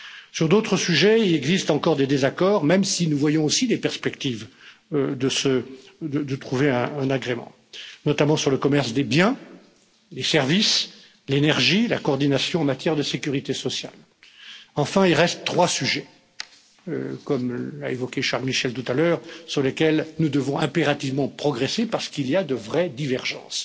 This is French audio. Sur d'autres sujets, il existe encore des désaccords, même si nous voyons aussi des perspectives de trouver un agrément, notamment sur le commerce des biens, les services, l'énergie, la coordination en matière de sécurité sociale. Enfin, il reste trois sujets, comme l'a évoqué Charles Michel tout à l'heure, sur lesquels nous devons impérativement progresser parce qu'il y a de vraies divergences